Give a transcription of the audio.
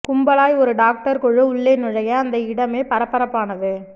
கும்பலாய் ஒரு டாக்டர் குழு உள்ளே நுழைய அந்த இடமே பரபரப்பானது